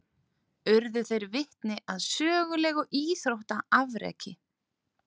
Urðu þeir vitni að sögulegu íþróttaafreki